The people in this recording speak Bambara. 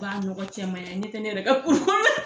B'a nɔgɔ cɛman yan n ɲɛ tɛ ne yɛrɛ ka